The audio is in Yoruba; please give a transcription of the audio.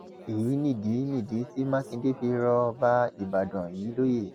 èyí nìdí nìdí tí mákindé fi rọ ọba ìbàdàn yìí lóye